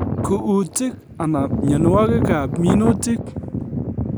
Kuutik anan mienwokikab minutik